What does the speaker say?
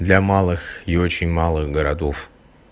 для малых и очень малых городов